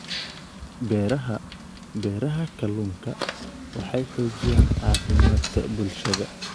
Beeraha Beeraha Kalluunku waxay xoojiyaan caafimaadka bulshada.